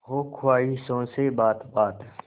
हो ख्वाहिशों से बात बात